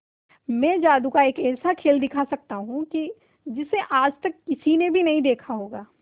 मैं जादू का एक ऐसा खेल दिखा सकता हूं कि जिसे आज तक किसी ने भी नहीं देखा होगा